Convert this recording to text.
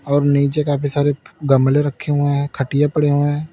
और नीचे काफी सारे गमले रखे हुए हैं खटिया पड़े हुए हैं।